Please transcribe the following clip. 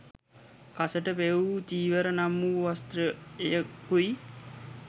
කසට පෙවූ චීවර නම් වූ වස්ත්‍රයකුයි.